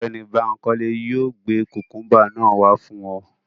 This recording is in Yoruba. Ọgbẹni Bankole yóò gbe kukumba naa wa fun ọ